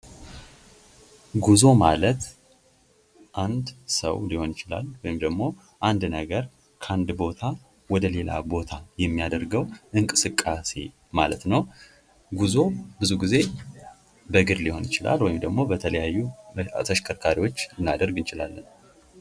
ጉዞ ማለት አንድ ሰዉ ሊሆን ይችላል ወይም ደግሞ አንድ ነገር ከአንድ ቦታ ወደ ሌላ ቦታ የሚያደርገዉ እንቅስቃሴ ማለት ነዉ። ጉዞ ብዙ ጊዜ በእግር ሊሆን ይችላል። ወይም ደግሞ በተሽከርካሪ ልናደርግ እንችላለን።